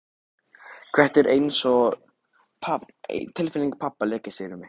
Það er einsog tilfinning pabba leggist yfir mig.